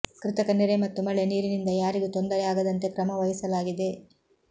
ಕೃತಕ ನೆರೆ ಮತ್ತು ಮಳೆ ನೀರಿನಿಂದ ಯಾರಿಗೂ ತೊಂದರೆ ಆಗದಂತೆ ಕ್ರಮ ವಹಿಸಲಾಗಿದೆ